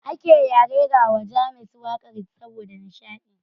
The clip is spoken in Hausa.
Ake ya rerawa James waƙar saboda nishaɗi.